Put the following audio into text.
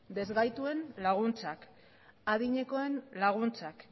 ezgaituen laguntzak adinekoen laguntzak